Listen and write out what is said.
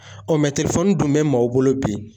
dun bɛ maaw bolo bi